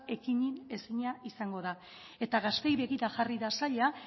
ekidinezina izango da eta gazteei begira jarri da saila